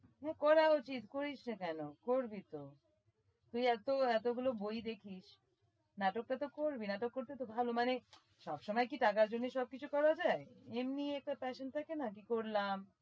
করা উচিত করিস না কেন? করবি তো তুই এত এত গুলো বই দেখিস নাটকটা তো করবি নাটক করতে তো ভাল মানে সবসময় কি টাকার জন্য সব কিছু করা যায়? এমনি একটা passaion থাকে না কি করলাম